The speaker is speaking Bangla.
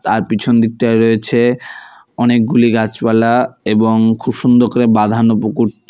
তার পিছন দিকটায় রয়েছে অনেকগুলি গাছপালা এবং খুব সুন্দর করে বাঁধানো পুকুরটি।